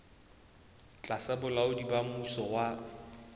tlasa bolaodi ba mmuso wa